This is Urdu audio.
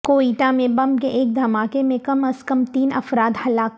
کوئٹہ میں بم کے ایک دھماکے میں کم ازکم تین افراد ہلاک